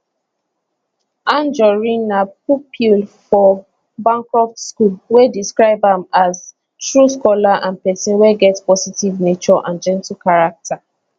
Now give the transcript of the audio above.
anjorin na pupil for bancroft school wey describe am as true scholar and pesin wey get positive nature and gentle character